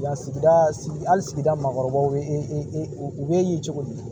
Yan sigida sigi hali sigida maakɔrɔbaw ye e e u bɛ ye cogo di